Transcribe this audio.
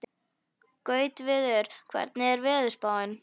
Gautviður, hvernig er veðurspáin?